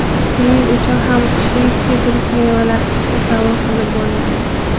Shuning uchun ham qishni sitrus mevalarsiz tasavvur qilib bo‘lmaydi.